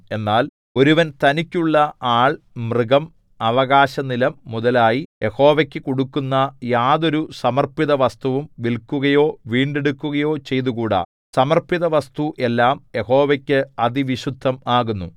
എന്നാൽ ഒരുവൻ തനിക്കുള്ള ആൾ മൃഗം അവകാശനിലം മുതലായി യഹോവയ്ക്കു കൊടുക്കുന്ന യാതൊരു സമർപ്പിതവസ്തുവും വില്ക്കുകയോ വീണ്ടെടുക്കുകയോ ചെയ്തുകൂടാ സമർപ്പിതവസ്തു ഏല്ലാം യഹോവയ്ക്ക് അതിവിശുദ്ധം ആകുന്നു